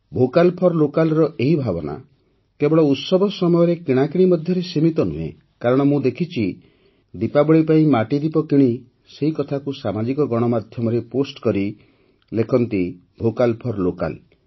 vocal for ଲୋକାଲ୍ର ଏହି ଭାବନା କେବଳ ଉତ୍ସବ ସମୟର କିଣାକିଣି ମଧ୍ୟରେ ସୀମିତ ନୁହେଁ କାରଣ ମୁଁ ଦେଖିଛି ଯେ ଦୀପାବଳୀ ପାଇଁ ମାଟି ଦୀପ କିଣି ସେ କଥାକୁ ସାମାଜିକ ଗଣମାଧ୍ୟମରେ ପୋଷ୍ଟ କରି ଲେଖନ୍ତି ଭୋକାଲ୍ ଫର୍ ଲୋକାଲ୍